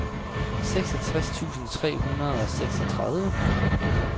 seksogtres tusind tre hundrede og seksogtredive